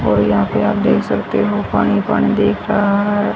और यहां पे आप देख सकते हो पानी पानी दिख रहा है।